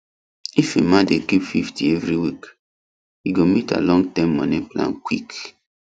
if emma dey keep fifty every week e go meet her longterm money plan quick